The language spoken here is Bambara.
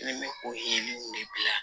Ne bɛ o yeli ninnu de bila yan